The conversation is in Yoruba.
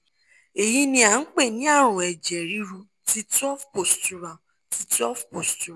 eyi ni a npe ni arun eje riru ti twelve postural ti twelve postural